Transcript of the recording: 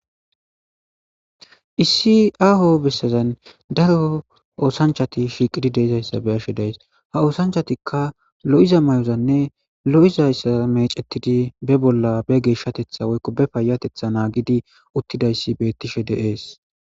issi aaho bessazan daro oosanchati shiiqidi deezayssa be'ashshe days ha oosanchattikka lo7iza may'oranne lo'izayssa mecettidi be bolla be geeshshateththa woykko be payateththa naggidi uttidayssi bettishshe de'ees